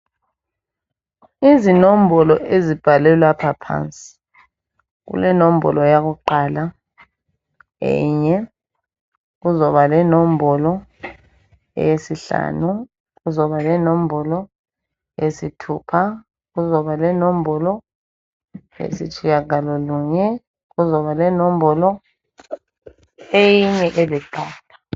Izinombolo ezibhalwe lapha phansi, kule nombolo yakuqala enye, kuzokuba lenombolo eyesihlanu, kuzoba lenombolo eyesithupha, kuzokuba lenombolo eye sitshiyagalolunye, eyinye eliqatha.